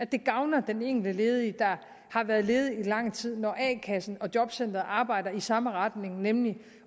det gavner den enkelte ledige der har været ledig i lang tid når a kassen og jobcenteret arbejder i samme retning nemlig